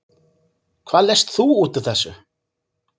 Hvað lest þú út úr þessu?